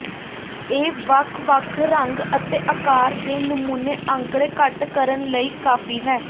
ਇਹ ਵੱਖ ਵੱਖ ਰੰਗ ਅਤੇ ਆਕਾਰ ਦੇ ਨਮੂਨੇ ਅੰਕੜੇ ਕੱਟ ਕਰਨ ਲਈ ਕਾਫ਼ੀ ਹੈ